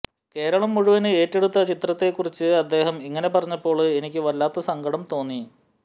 കേരളം മുഴുവന് ഏറ്റെടുത്ത ചിത്രത്തെക്കുറിച്ച് അദ്ദേഹം ഇങ്ങനെ പറഞ്ഞപ്പോള് എനിക്ക് വല്ലാത്ത സങ്കടം തോന്നി